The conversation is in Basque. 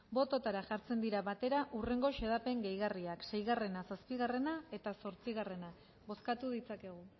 bototara jartzen dira batera hurrengo xedapen gehigarriak sei zazpi eta zortzia bozkatu ditzakegu